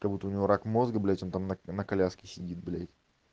как будто у него рак мозга блять он там на на коляске сидит блядь